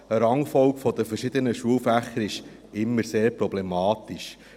Eine Rangfolge der verschiedenen Schulfächer ist immer sehr problematisch.